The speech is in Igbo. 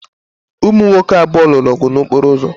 Ụmụ nwoke abụọ lụrụ ọgụ n'okporo ụzọ.